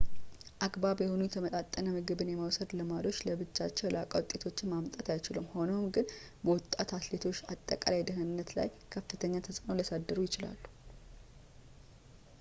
አግባብ የሆኑ የተመጣጠነ ምግብን የመውሰድ ልማዶች ለብቻቸው የላቀ ውጤቶችን ማምጣት አይችሉም ሆኖም ግን በወጣት አትሌቶች አጠቃላይ ደህንነት ላይ ከፍተኛ ተፅእኖ ሊያሳድሩ ይችላል